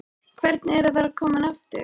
Hvernig er að vera kominn aftur?